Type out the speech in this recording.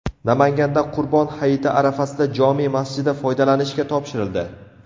Namanganda Qurbon hayiti arafasida jome masjidi foydalanishga topshirildi .